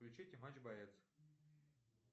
включите матч боец